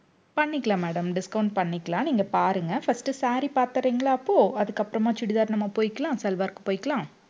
பண்ணிக்கலாம் madam discount பண்ணிக்கலாம். நீங்க பாருங்க. first saree பார்த்திடறீங்களா அப்போ அதுக்கப்புறமா chudithar நம்ம போய்க்கலாம். salwar க்கு போயிக்கலாம்.